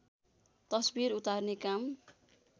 तस्वीर उतार्ने काम